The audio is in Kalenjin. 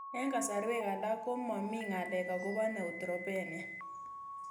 Eng' kasarwek alak ko mami ng'alek akopo neutropenia